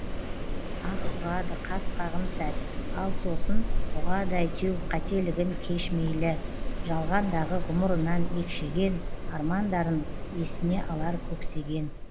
ах ұрады қас қағым сәт ал сосын ұғады әйтеу қателігін кеш мейлі жалғандағы ғұмырынан екшеген армандарын есіне алар көксеген